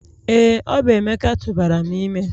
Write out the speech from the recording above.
Ee, ọ bụ Emeka tụbara m ime